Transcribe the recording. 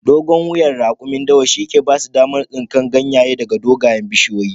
Dogon wuyan rakumin dawa shi yake basu damar tsinkan ganye daga dogayen bishiyoyi